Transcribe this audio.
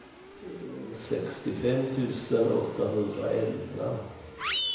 sextiofem tusen åttahundraelva